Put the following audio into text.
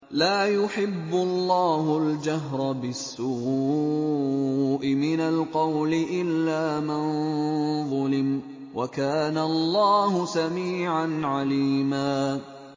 ۞ لَّا يُحِبُّ اللَّهُ الْجَهْرَ بِالسُّوءِ مِنَ الْقَوْلِ إِلَّا مَن ظُلِمَ ۚ وَكَانَ اللَّهُ سَمِيعًا عَلِيمًا